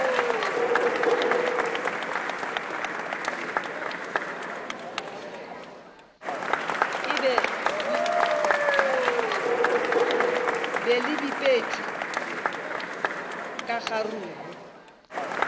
be le bipetšwe ka kgaruru